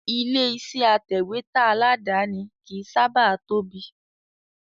Ilé iṣẹ́ atẹ̀wẹ́tà aládàáni kìí sábà tóbi